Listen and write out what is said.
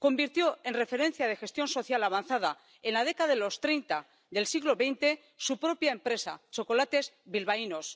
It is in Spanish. Convirtió en referencia de gestión social avanzada en la década de los treinta del siglo XX su propia empresa, Chocolates Bilbaínos.